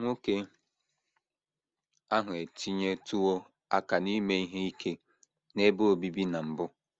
Nwoke ahụ etinyetụwo aka n’ime ihe ike n’ebe obibi na mbụ.